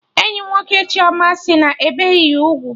Enyi nwoke Chioma sị na-ebeghị ya ugwu